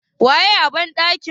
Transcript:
waye a bandaki?